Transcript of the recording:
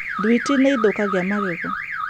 Thwiti nĩ ĩthũkagia magego.